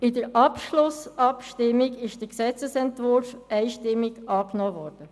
In der Schlussabstimmung ist der Gesetzesentwurf einstimmig angenommen worden.